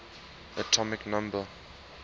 atomic number